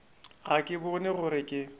ga ke bone gore ke